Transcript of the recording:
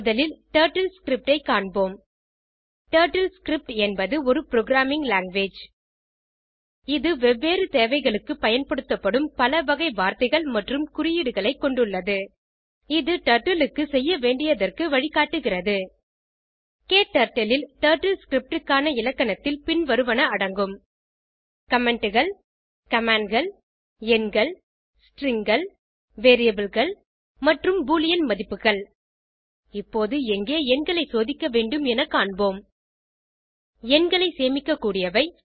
முதலில் டர்ட்டில்ஸ்கிரிப்ட் ஐ காண்போம் TurtleScriptஎன்பது ஒரு புரோகிராமிங் லாங்குவேஜ் இது வெவ்வேறு தேவைகளுக்கு பயன்படுத்தப்படும் பல வகை வார்த்தைகள் மற்றும் குறியீடுகளைக் கொண்டுள்ளது இது டர்ட்டில் க்கு செய்யவேண்டியதற்கு வழிகாட்டுகிறது க்டர்ட்டில் ல் TurtleScriptக்கான இலக்கணத்தில் பின்வருவன அடங்கும் Commentகள் Commandகள் எண்கள் Stringகள் Variableகள் மற்றும் பூலியன் மதிப்புகள் இப்போது எங்கே எண்களை சோதிக்க வேண்டும் என காண்போம் எண்களை சேமிக்கக்கூடியவை